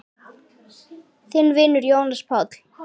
Þinn vinur, Jónas Páll.